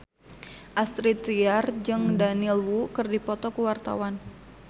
Astrid Tiar jeung Daniel Wu keur dipoto ku wartawan